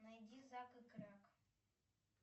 найди зак и кряк